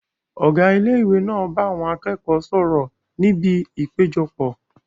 Ọ̀gá ilé ìwé náà bá àwọn akẹ́kọ̀ọ́ sọ̀rọ̀ ní ibi ìpéjọpọ̀